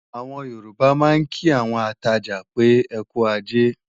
Àwọn Yorùbá máa ń kí àwọn atajà pé, "ẹkú ajé"